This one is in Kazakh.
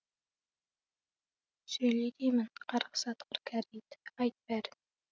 сөйле деймін қарғыс атқыр кәрі ит айт бәрін